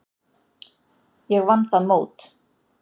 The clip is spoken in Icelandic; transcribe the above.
Ég vann það mót.